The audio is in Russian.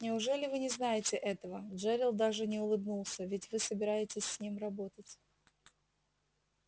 неужели вы не знаете этого джерилл даже не улыбнулся ведь вы собираетесь с ним работать